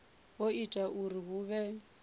o ita uri hu vhe